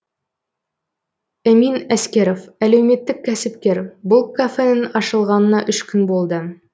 эмин әскеров әлеуметтік кәсіпкер бұл кафенің ашылғанына үш күн болды